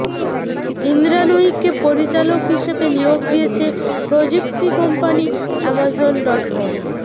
ইন্দ্রা নুয়িকে পরিচালক হিসেবে নিয়োগ দিয়েছে প্রযুক্তি কম্পানি অ্যামাজন ডটকম